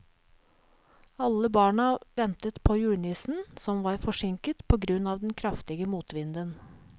Alle barna ventet på julenissen, som var forsinket på grunn av den kraftige motvinden.